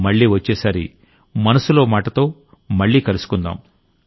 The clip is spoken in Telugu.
మళ్లీ వచ్చేసారి మనసులో మాటలో మళ్లీ కలుసుకుందాం